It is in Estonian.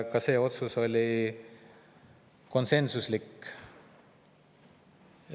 Ka see otsus oli konsensuslik.